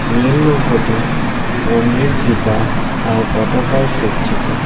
নীল নৌকোটি রঙিন ফিতা আর পতাকায় সজ্জিত।